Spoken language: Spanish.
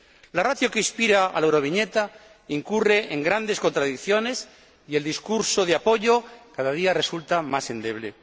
La ratio que inspira a la Euroviñeta incurre en grandes contradicciones y el discurso de apoyo cada día resulta más endeble.